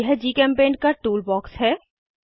यह जीचेम्पेंट का tool box है